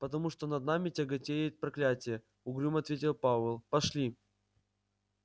потому что над нами тяготеет проклятие угрюмо ответил пауэлл пошли